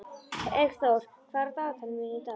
Eggþór, hvað er á dagatalinu mínu í dag?